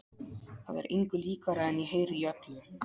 Það er engu líkara en ég heyri í öllu